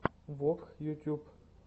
вок ютьюб